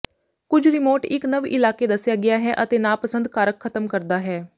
ਕੁਝ ਰਿਮੋਟ ਇੱਕ ਨਵ ਇਲਾਕੇ ਦੱਸਿਆ ਗਿਆ ਹੈ ਅਤੇ ਨਾਪਸੰਦ ਕਾਰਕ ਖਤਮ ਕਰਦਾ ਹੈ